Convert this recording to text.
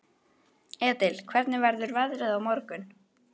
Edil, hvernig verður veðrið á morgun?